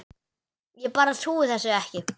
Ég bara trúði þessu ekki.